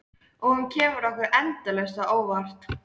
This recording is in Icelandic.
Og hún kemur okkur endalaust á óvart.